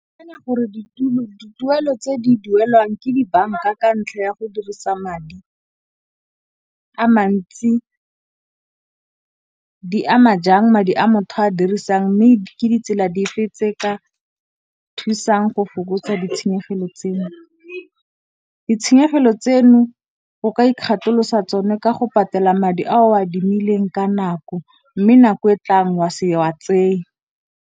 Gore dituelo tse di duelwang ke dibanka ka ntlha ya go dirisa madi a mantsi di ama jang madi a motho a dirisang mme ke ditsela di fetse ka o thusang go fokotsa ditshenyegelo tseno. Ditshenyegelo tseno go ka ikgatholosa tsone ka go patela madi a o a adimileng ka nako mme nako e tlang wa se wa tseye.